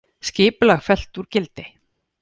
Skipulag fellt úr gildi